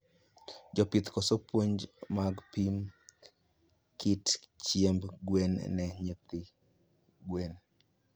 Jopith koso puonj mag pimo kit chiemb gwen ne nyithi gwen